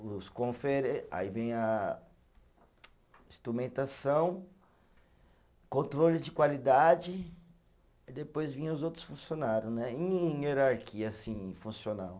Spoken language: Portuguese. Aí vem a instrumentação, controle de qualidade e depois vinha os outros funcionário né, em hierarquia assim funcional.